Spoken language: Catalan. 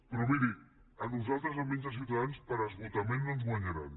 però miri a nosaltres almenys a ciutadans per esgotament no ens guanyaran